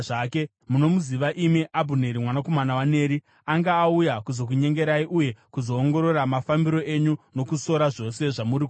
Munomuziva imi Abhuneri mwanakomana waNeri; anga auya kuzokunyengerai uye kuzoongorora mafambiro enyu nokusora zvose zvamuri kuita.”